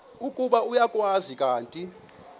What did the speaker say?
ukuba uyakwazi kanti